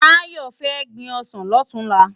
Tayo fè gbin òsán lòtúnlá